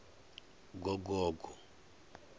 gogogo